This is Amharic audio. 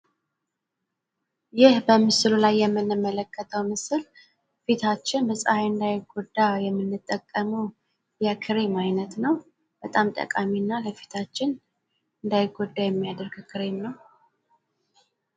ይህ በምስሉ ላይ የምንመለከተው ፊታችን በጸሐይ እንዳይጎዳ የምንጠቀመው የክሬም አይነት ነው። በጣም ጠቃሚና ለፊታችን እንዳይጎዳ የሚያደርግ ክሬም ነው።